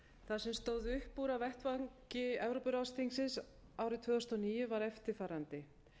það sem stóð upp úr af vettvangi evrópuráðsþingsins árið tvö þúsund og níu var eftirfarandi